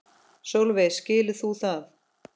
Sólveig: Skilur þú það?